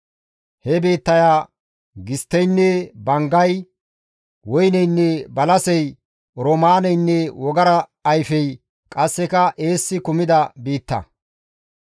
He biittaya gistteynne banggay, woyneynne balasey, oroomaaneynne wogara ayfey, qasseka eessi kumida biitta.